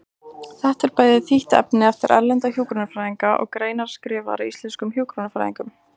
Þetta er bæði þýtt efni eftir erlenda hjúkrunarfræðinga og greinar skrifaðar af íslenskum hjúkrunarfræðingum.